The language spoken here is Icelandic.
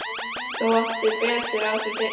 Þú áttar þig betur á því seinna.